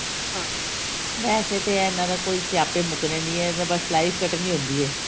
ਹਾਂ ਵੇਸੇ ਤੇ ਇਹਨਾ ਦੇ ਕੋਈ ਸਿਆਪੇ ਮੁਕਨੇ ਨਹੀਂ ਹੈ ਬਸ life ਕੱਟਣੀ ਹੁੰਦੀ ਹੈ